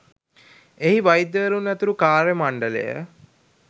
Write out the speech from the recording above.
එහි වෛද්‍යවරුන් ඇතුළු කාර්ය මණ්ඩලය